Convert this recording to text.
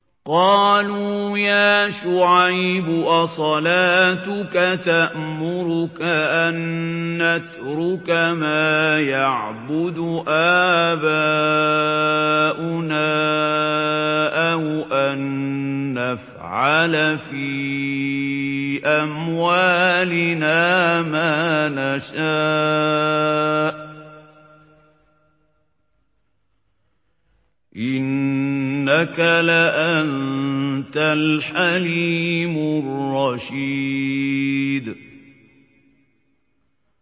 قَالُوا يَا شُعَيْبُ أَصَلَاتُكَ تَأْمُرُكَ أَن نَّتْرُكَ مَا يَعْبُدُ آبَاؤُنَا أَوْ أَن نَّفْعَلَ فِي أَمْوَالِنَا مَا نَشَاءُ ۖ إِنَّكَ لَأَنتَ الْحَلِيمُ الرَّشِيدُ